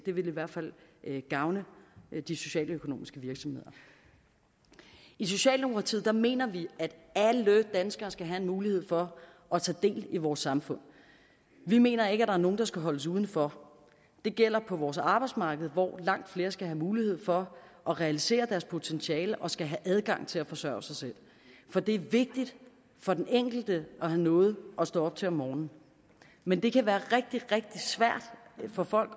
vil i hvert fald gavne de socialøkonomiske virksomheder i socialdemokratiet mener vi at alle danskere skal have en mulighed for at tage del i vores samfund vi mener ikke at er nogen der skal holdes udenfor det gælder på vores arbejdsmarked hvor langt flere skal have mulighed for at realisere deres potentiale og skal have adgang til at forsørge sig selv for det er vigtigt for den enkelte at have noget at stå op til om morgenen men det kan være rigtig rigtig svært for folk